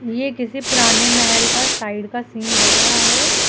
ये किसी पुराने महल का साइड का सीन लग रहा है।